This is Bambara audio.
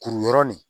Kuru yɔrɔ nin